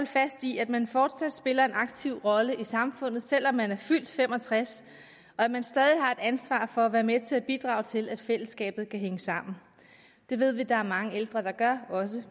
fast i at man fortsat spiller en aktiv rolle i samfundet selv om man er fyldt fem og tres og at man stadig har et ansvar for at være med til at bidrage til at fællesskabet kan hænge sammen det ved vi at der er mange ældre der gør også